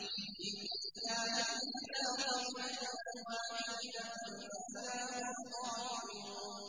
إِن كَانَتْ إِلَّا صَيْحَةً وَاحِدَةً فَإِذَا هُمْ خَامِدُونَ